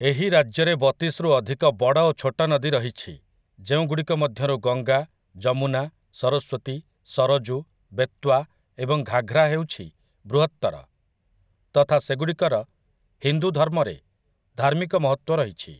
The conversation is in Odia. ଏହି ରାଜ୍ୟରେ ବତିଶରୁ ଅଧିକ ବଡ଼ ଓ ଛୋଟ ନଦୀ ରହିଛି, ଯେଉଁଗୁଡ଼ିକ ମଧ୍ୟରୁ ଗଙ୍ଗା, ଯମୁନା, ସରସ୍ୱତୀ, ସରଜୁ, ବେତ୍ୱା, ଏବଂ ଘାଘ୍ରା ହେଉଛି ବୃହତ୍ତର, ତଥା ସେଗୁଡ଼ିକର ହିନ୍ଦୁ ଧର୍ମରେ ଧାର୍ମିକ ମହତ୍ତ୍ୱ ରହିଛି ।